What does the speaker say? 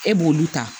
E b'olu ta